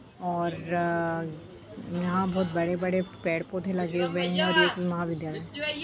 और यहाँ बहुत बड़े-बड़े पेड़-पौधे लगे हुए हैं और एक महाविद्यालय है।